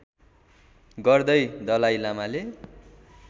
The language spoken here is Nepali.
गर्दै दलाइ लामाले